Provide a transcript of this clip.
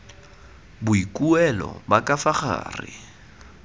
boikuelo ba ka fa gare